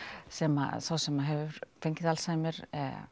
sem sá sem hefur fengið Alzheimer